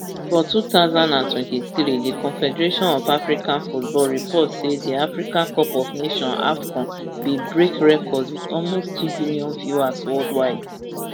for two thousand and twenty-three di confederation of african football report say di africa cup of nations afcon bin break records wit almost two billion viewers worldwide